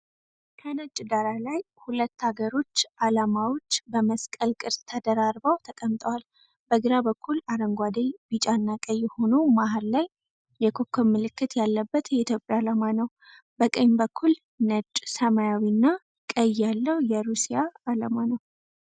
ከነጭ ዳራ ላይ ሁለት አገሮች ዓላማዎች በመስቀል ቅርጽ ተደራርበው ተቀምጠዋል። በግራ በኩል አረንጓዴ፣ ቢጫና ቀይ ሆኖ መሀል ላይ የኮከብ ምልክት ያለበት የኢትዮጵያ ዓላማ ነው። በቀኝ በኩል ነጭ፣ ሰማያዊና ቀይ ያለው የሩሲያ ዓላማ ነው።